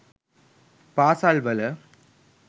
පාසල්වල,